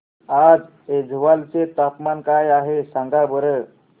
आज ऐझवाल चे तापमान काय आहे सांगा बरं